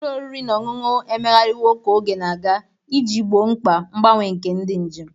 Ụlọ oriri na ọṅụṅụ emegharịwo ka oge na-aga iji gboo mkpa mgbanwe nke ndị njem.